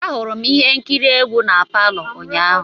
Ahụrụ m ihe nkiri egwu na palo ụnyaahụ.